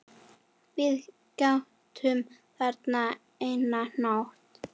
Við gistum þarna eina nótt.